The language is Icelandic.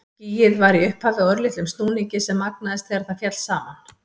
Skýið var í upphafi á örlitlum snúningi sem magnaðist þegar það féll saman.